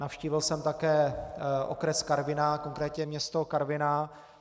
Navštívil jsem také okres Karviná, konkrétně město Karviná.